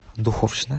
духовщина